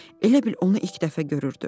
Elə bil onu ilk dəfə görürdü.